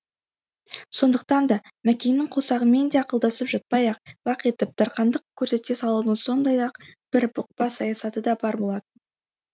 сондықтан да мәкеңнің қосағымен де ақылдасып жатпай ақ лақ етіп дарқандық көрсете салуының сондай ақ бір бұқпа саясаты да бар болатын